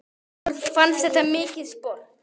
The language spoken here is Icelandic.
Þetta fannst okkur mikið sport.